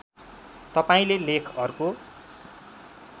तपाईँले लेख अर्को